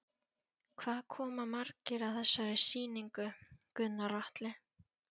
Hvað koma margir að þessari sýningu, Gunnar Atli?